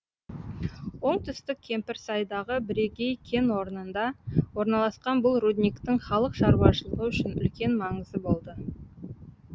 оңтүстік кемпірсайдағы бірегей кен орнында орналасқан бұл рудниктің халық шаруашылығы үшін үлкен маңызы болды